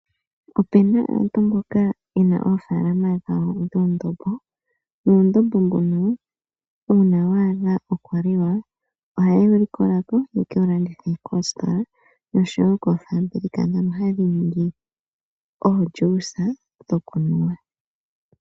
Opena aantu mboka yena oofalama dhawo dhuundombo. Nuundombo mbuno uuna wa adha oku liwa ohaye wu likola ko ye kewu landithe koositola noshowo koofabulika ndhono hadhi ningi omeya giiyimati goku nuwa.